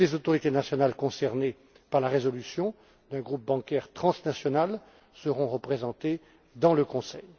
Toutes les autorités nationales concernées par la résolution les défaillances d'un groupe bancaire transnational seront représentées dans ce conseil.